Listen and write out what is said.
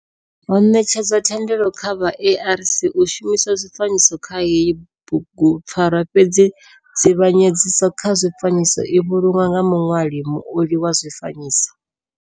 Ho netshedzwa thendelo kha vha ARC u shumisa zwifanyiso kha heyi bugupfarwa fhedzi divha nyedziso kha zwifanyiso i vhulungwa nga muṋwali, muoli wa zwifanyiso.